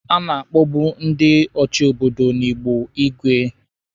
A na-akpọbu ndị na-achi obodo ndi Igbo igwe.